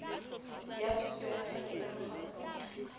ya thuso ya tjhelete mokgatlong